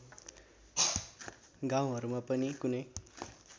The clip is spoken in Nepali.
गाउँहरूमा पनि कुनै